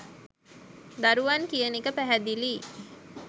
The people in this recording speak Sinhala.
දරුවන් කියන එක පැහැදිලියි